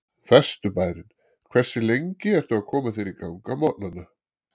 Vesturbærinn Hversu lengi ertu að koma þér í gang á morgnanna?